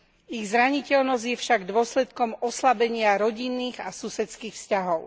Ich zraniteľnosť je však dôsledkom oslabenia rodinných a susedských vzťahov.